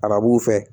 Arabuw fɛ